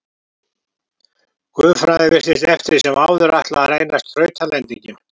Guðfræðin virtist eftir sem áður ætla að reynast þrautalendingin.